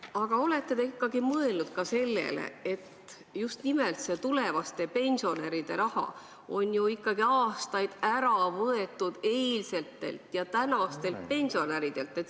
Aga kas te olete mõelnud ka sellele, et just nimelt seda tulevaste pensionäride raha on aastaid ära võetud eilsetelt ja tänastelt pensionäridelt?